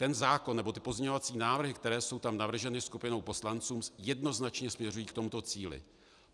Ten zákon nebo ty pozměňovací návrhy, které jsou tam navrženy skupinou poslanců, jednoznačně směřují k tomuto cíli.